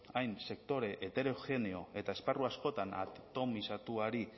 hain sektore heterogeneo eta esparru askotan atomizatuari